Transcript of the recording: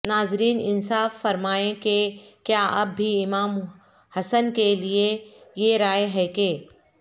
ناظرین انصاف فرمائیں کہ کیااب بھی امام حسن کے لیے یہ رائے ہے کہ